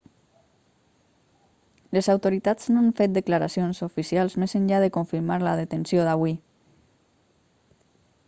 les autoritats no han fet declaracions oficials més enllà de confirmar la detenció d'avui